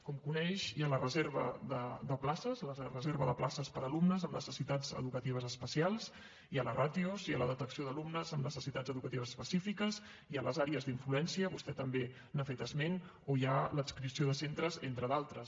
com coneix hi ha la reserva de places per a alumnes amb necessitats educatives especials hi ha les ràtios hi ha la detecció d’alumnes amb necessitats educatives específiques hi ha les àrees d’influència vostè també n’ha fet esment o hi ha l’adscripció de centres entre d’altres